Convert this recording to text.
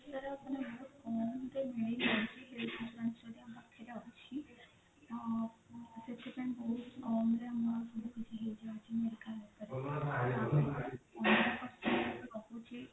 ଅ ସେଥିପାଇଁ ବହୁତ କମ ରେ ଆମର